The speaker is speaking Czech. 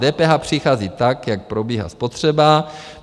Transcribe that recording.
DPH přichází tak, jak probíhá spotřeba...